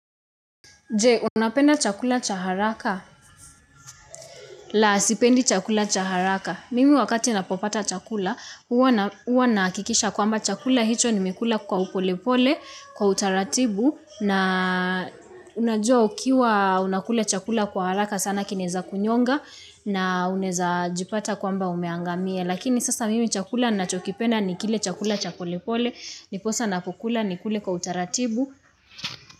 Je, unapenda chakula cha haraka? La, sipendi chakula cha haraka. Mimi wakati napopata chakula, huwa nahakikisha kwamba chakula hicho nimekula kwa upolepole, kwa utaratibu. Na, unajua ukiwa unakula chakula kwa haraka sana kineza kunyonga na uneza jipata kwamba umeangamia. Lakini sasa mimi chakula nachokipenda ni kile chakula cha polepole, niposa napokula nikule kwa utaratibu.